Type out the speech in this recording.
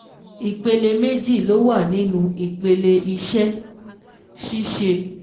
Ìpele méjì ló wà nínú ìpele ìṣẹ́-ṣíṣe